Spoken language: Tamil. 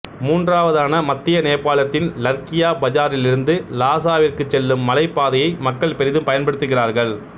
மூன்றாவதான மத்திய நேபாளத்தின் லர்க்கியா பஜாரிலிருந்து லாசாவிற்குச் செல்லும் மலைப் பாதையை மக்கள் பெரிதும் பயன்படுத்துகிறார்கள்